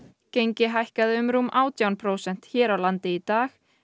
gengi hækkaði um rúm átján prósent hér á landi í dag